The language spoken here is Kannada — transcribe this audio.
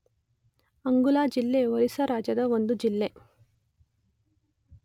ಅಂಗುಲ್ ಜಿಲ್ಲೆ ಒರಿಸ್ಸಾ ರಾಜ್ಯದ ಒಂದು ಜಿಲ್ಲೆ.